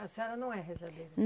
A senhora não é rezadeira.